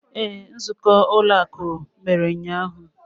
Ee, nzukọ ụlọ akụ emere ụnyaahụ.